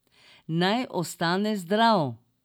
Naj ostane zdrav.